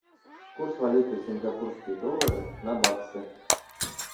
курс валюты сингапурские доллары на баксы